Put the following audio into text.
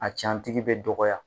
A cantigi bɛ dɔgɔ ya.